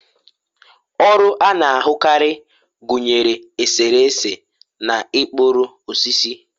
ọrụ a na-ahụkarị gụnyere eserese na ịkpụrụ osisi